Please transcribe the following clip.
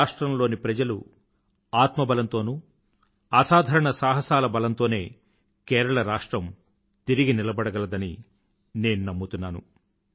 రాష్ట్రంలోని ప్రజల ఆత్మబలంతోనూ అసాధారణ సాహసాల బలంతోనే కేరళ రాష్ట్రం తిరిగి నిలబడగలదని నేను నమ్ముతున్నాను